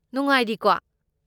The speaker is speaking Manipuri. ꯅꯨꯡꯉꯥꯏꯔꯤꯀꯣ?